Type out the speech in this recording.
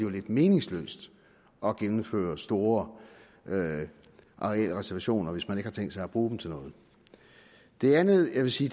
er lidt meningsløst at gennemføre store arealreservationer hvis man ikke har tænkt sig at bruge dem til noget det andet jeg vil sige